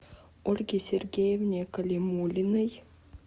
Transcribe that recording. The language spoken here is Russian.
ольге сергеевне калимуллиной